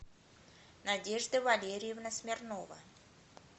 надежда валерьевна смирнова